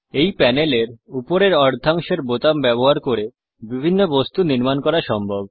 এই প্যানেলের উপরের অর্ধাংশের বোতাম ব্যবহার করে বিভিন্ন বস্তু নির্মাণ করা সম্ভব